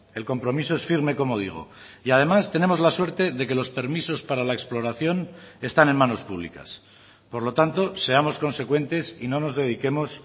el compromiso es firme como digo y además tenemos la suerte de que los permisos para la exploración están en manos públicas por lo tanto seamos consecuentes y no nos dediquemos